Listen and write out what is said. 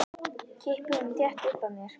Kippi honum þétt upp að mér.